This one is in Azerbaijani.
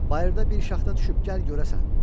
Bayırda bir şaxta düşüb gəl görəsən.